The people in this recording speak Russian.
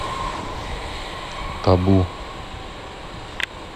табу